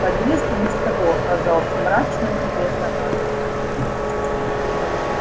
подъезд и без того оказался мрачным и грязноватым